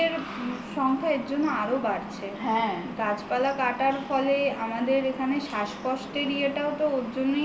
covid এর সংখ্যা এর জন্য আরো বাড়ছে গাছপালা কাটার ফলে আমাদের এখানে শ্বাসকষ্ট এর ইয়েটা ওরজন্যেই